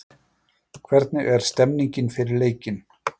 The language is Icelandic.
Hvernig er stemmningin fyrir leikinn?